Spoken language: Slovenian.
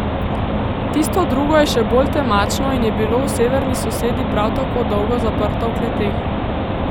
Tisto drugo je še bolj temačno in je bilo v severni sosedi prav tako dolgo zaprto v kleteh.